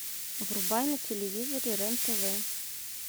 врубай на телевизоре рен тв